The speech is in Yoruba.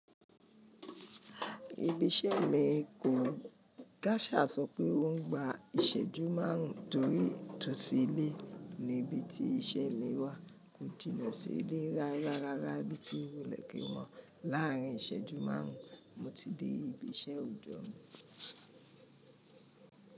Ibi iṣẹ́ mi kò kásà sọ pé ó ń gba ìṣẹ́jú márùn-ún torí itòsí ilé níbi tí iṣẹ́ mi wà, kò jiná sílé rárá rárá bí tí wulé kì o mọ́. Láàárín ìṣẹ́jú márùn-ún, mo ti dé ibi iṣẹ́ òjọ́ mi.